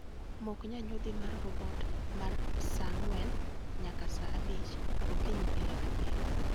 Mok nyanyodhi mar robot mar sa ang'wen nyaka sa abich okinyi pile ka pile